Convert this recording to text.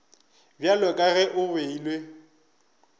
bjalo ka ge go beilwe